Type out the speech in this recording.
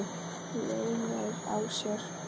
Leynir á sér!